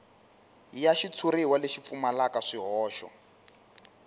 ya xitshuriwa lexi pfumalaka swihoxo